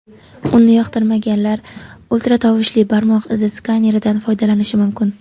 Uni yoqtirmaganlar ultratovushli barmoq izi skaneridan foydalanishi mumkin.